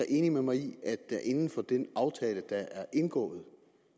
enig med mig i at der inden for den aftale der er indgået